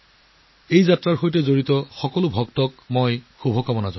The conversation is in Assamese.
এই যাত্ৰাবোৰত অংশগ্ৰহণ কৰিবলগীয়া সকলো ভক্তক মই শুভকামনা জনালোঁ